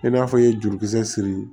E n'a fɔ i ye jurukisɛ siri